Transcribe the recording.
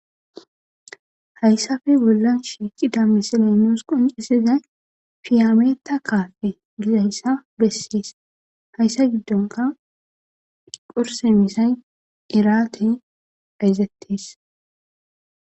hayssafe bollan shiiqida misiley nus qoncisizay fiyameeta kaafe gizayssa bessees hayssa giddonka qurse misay iraatey bayzettees